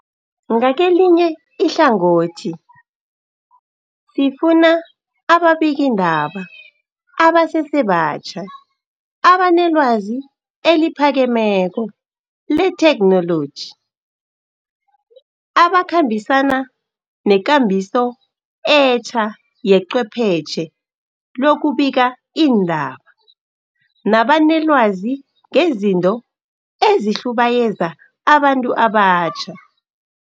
Ngakelinye ihlangothi, sifuna nababikiindaba abasese batjha abanelwazi eliphakemeko lethekhnoloji, abakhambisana nekambiso etja yecwephetjhe lokubika iindaba nabanelwazi ngezinto ezihlubayeza abantu abatjha.